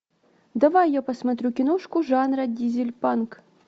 давай я посмотрю киношку жанра дизель панк